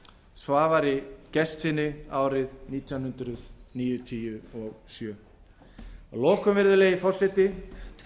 svavari gestssyni árið nítján hundruð níutíu og sjö að lokum virðulegi forseti